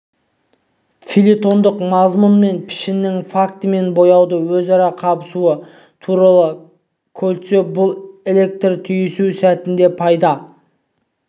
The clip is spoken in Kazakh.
фельетондық мазмұн мен пішіннің факті мен бояудың өзара қабысуы туралы кольцов бұл электрлік түйісу сәтінде пайда